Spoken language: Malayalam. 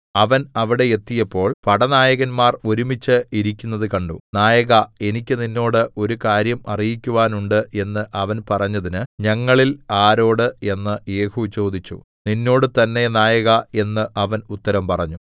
അവൻ അവിടെ എത്തിയപ്പോൾ പടനായകന്മാർ ഒരുമിച്ച് ഇരിക്കുന്നത് കണ്ടു നായകാ എനിക്ക് നിന്നോട് ഒരു കാര്യം അറിയിക്കുവാനുണ്ട് എന്ന് അവൻ പറഞ്ഞതിന് ഞങ്ങളിൽ ആരോട് എന്ന് യേഹൂ ചോദിച്ചു നിന്നോട് തന്നേ നായകാ എന്ന് അവൻ ഉത്തരം പറഞ്ഞു